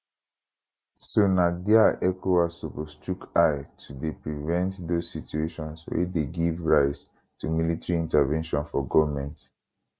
so na dia ecowas suppose chook eye to dey prevent dose situations wey dey give rise to military intervention for goment